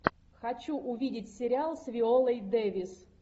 хочу увидеть сериал с виолой дэвис